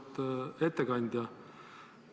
Auväärt ettekandja!